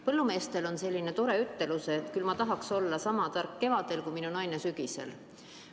Põllumeestel on selline tore ütelus, et küll ma tahaks olla sama tark kevadel, kui minu naine sügisel.